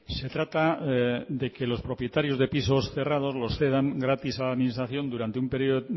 se trata de que los propietarios de pisos cerrados los cedan gratis a la administración durante un periodo